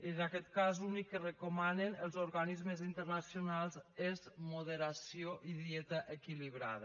en aquest cas l’únic que recomanen els organismes internacionals és moderació i dieta equilibrada